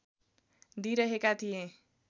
दिइरहेका थिएँ